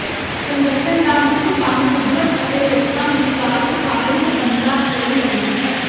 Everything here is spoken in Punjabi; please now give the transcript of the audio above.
ਸੰਗਠਨ ਦਾ ਮੁੱਖ ਕੰਮ ਕੁਦਰਤ ਅਤੇ ਲੋਕਾਂ ਵਿਚਕਾਰ ਸੁਖਾਵੇਂ ਸਬੰਧਾਂ ਲਈ ਲੜਨਾ ਹੈ